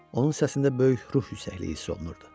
Onun səsində böyük ruh yüksəkliyi hiss olunurdu.